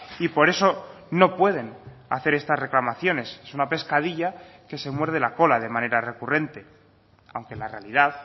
y por eso no pueden hacer estas reclamaciones es una pescadilla que se muerde la cola de manera recurrente aunque la realidad